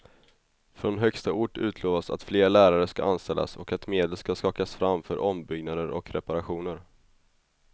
Från högsta ort utlovas att fler lärare ska anställas och att medel ska skakas fram för ombyggnader och reparationer.